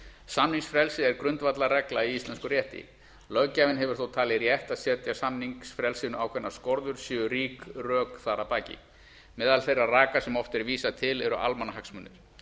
samningsfrelsi er grundvallarregla í íslenskum rétti löggjafinn hefur þó talið rétt að setja samningsfrelsinu ákveðnar skorður séu rík rök þar að baki meðal þeirra raka sem oft er vísað til eru almannahagsmunir